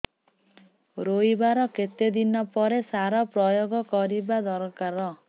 ରୋଈବା ର କେତେ ଦିନ ପରେ ସାର ପ୍ରୋୟାଗ କରିବା ଦରକାର